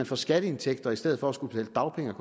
få skatteindtægter i stedet for at skulle betale dagpenge